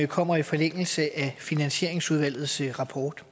kommer i forlængelse af finansieringsudvalgets rapport